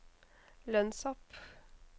lønnshopp